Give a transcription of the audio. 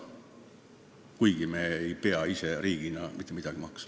Ja nüüd riigina ühinedes me ei pea mitte midagi maksma.